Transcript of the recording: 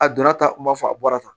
A donna tan n b'a fɔ a bɔra tan